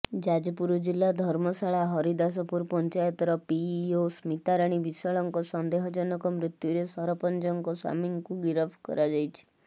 ଯାଜପୁର ଜିଲ୍ଲା ଧର୍ମଶାଳା ହରିଦାସପୁର ପଞ୍ଚାୟତର ପିଇଓ ସ୍ମିତାରାଣୀ ବିଶ୍ବାଳଙ୍କ ସନ୍ଦେହଜନକ ମୃତ୍ୟୁରେ ସରପଞ୍ଚଙ୍କ ସ୍ବାମୀଙ୍କୁ ଗିରଫ କରାଯାଇଛି